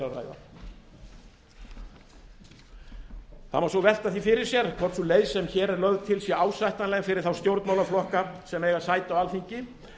að ræða það má svo velta því fyrir sér hvort sú leið sem hér er lögð til sé ásættanleg fyrir þá stjórnmálaflokka sem eiga sæti á alþingi